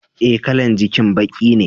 Eh, kalan jakin baki ne.